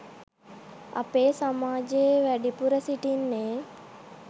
අපේ සමාජයේ වැඩිපුර සිටින්නේ